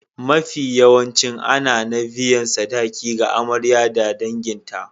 Mafiyawancin ana na biyan sadaki ga Amarya da danginta.